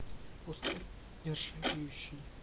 поставь нержавеющий